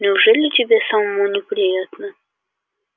неужели тебе самому не приятно